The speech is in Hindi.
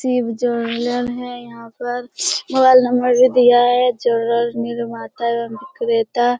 शिव ज्वेलर्स है यहाँ पर मोबाइल नंबर भी दिया है ज्वेलर्स निर्माता एवं बिक्रेता ।